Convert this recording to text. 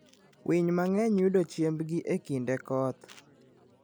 Winy mang'eny yudo chiembgi e kinde koth.